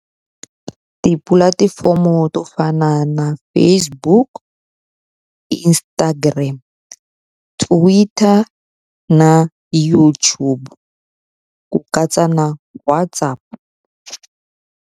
Tipulatifomo to fana na Facebook, Instagram, Twitter na YouTube ku katsa na WhatsApp.